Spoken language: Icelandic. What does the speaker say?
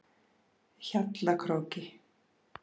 Hjallakróki